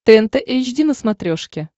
тнт эйч ди на смотрешке